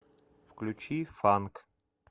включи фанк